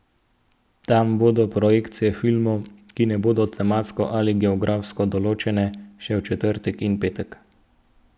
Tam bodo projekcije filmov, ki ne bodo tematsko ali geografsko določene, še v četrtek in petek.